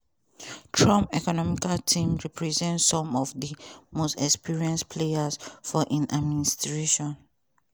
trump economic team represent some of di most experienced players for im administration.